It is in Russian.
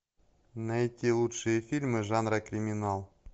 найти лучшие фильмы жанра криминал